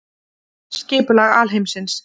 Skipulag alheimsins.